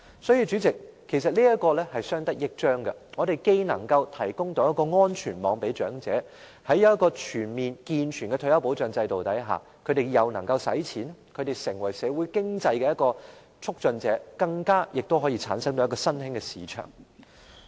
因此，主席，其實這是相得益彰的，我們既能為長者提供安全網，而在全面和健全的退休保障制度下，長者又能夠消費，成為社會經濟的促進者，更可產生一個新興市場。